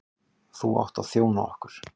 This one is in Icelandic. Þú átt að þjóna okkur.